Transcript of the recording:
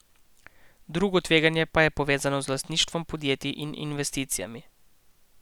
Drugo tveganje pa je povezano z lastništvom podjetij in investicijami.